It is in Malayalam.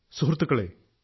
സുഹൃത്തുക്കളേ